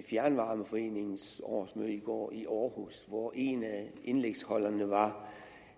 fjernvarmeforeningens årsmøde i går i aarhus hvor en af indlægsholderne var